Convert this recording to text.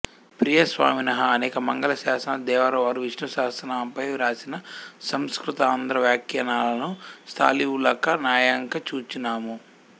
ప్రియ స్వామినః అనేక మంగళాశాసనాలు దేవరవారు విష్ణు సహస్రనామంపై వ్రాసిన సంస్కృతాంధ్రవ్యాఖ్యానాలను స్థాలీవులాక న్యాయంగ చూచినాము